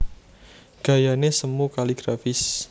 Gayané semu kaligrafis